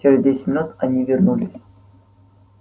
через десять минут они вернулись